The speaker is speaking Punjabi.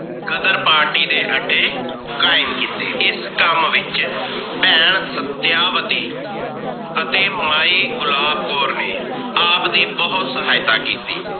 ਗ਼ਦਰ party ਦੇ ਅੱਡੇ ਕਾਇਮ ਕੀਤੇ। ਇਸ ਕਾਮ ਵਿਚ ਭੈਣ ਸਤਿਆਵਤੀ ਅਤੇ ਮਾਈ ਗੁਲਾਬ ਕੌਰ ਨੇ ਆਪ ਦੀ ਬੋਹਤ ਸਹਾਇਤਾ ਕੀਤੀ ।